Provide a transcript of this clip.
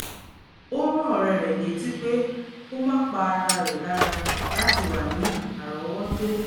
ó rán ọ̀rẹ́ rẹ̀ létí pé kó má pa ara rẹ̀ lára láti wà ní árọ̀ọ́wọ́tó